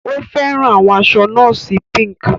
O fẹran awọn aṣọ nọọsi Pink.